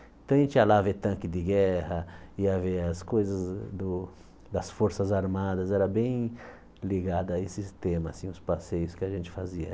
Então a gente ia lá ver tanque de guerra, ia ver as coisas do das forças armadas, era bem ligado a esses temas, assim os passeios que a gente fazia.